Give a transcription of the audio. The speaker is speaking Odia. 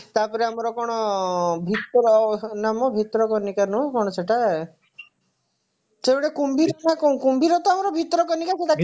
ତାପରେ ଆମର କଣ ଭିତର ନା ମ ଭିତରକନିକା ନୁହେଁ କଣ ସେଟା ସେ ଗୋଟେ କୁମ୍ଭୀର ତ କଣ କୁମ୍ଭୀରର ତ ଆମର ଭିତରକନିକା ସେଇଟା